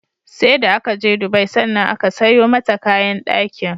seda akaje Dubai sannan aka sayo mata kayan dakin